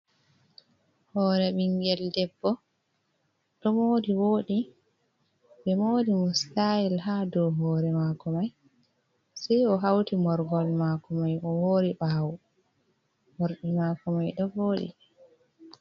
Hore ɓingel debbo ɗo mori voɗi. Ɓe mori mo stayel ha dow hore mako mai sai o hauti morhol mako mai o hori ɓawo. Morɗi mako mai ɗo voɗi.